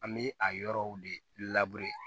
An bɛ a yɔrɔw de labure